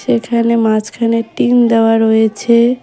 এখানে মাঝখানে টিন দেওয়া রয়েছে।